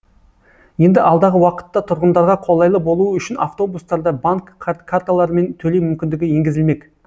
енді алдағы уақытта тұрғындарға қолайлы болуы үшін автобустарда банк карталырымен төлеу мүмкіндігі енгізілмек